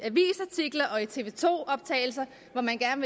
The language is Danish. tv to optagelser hvor man gerne